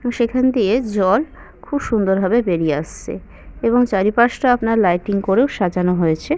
এবং সেখান দিয়ে জল খুব সুন্দর ভাবে বেরিয়ে আসছে এবং চারিপাশ টা আপনার লাইটিং করেও সাজানো হয়েছে।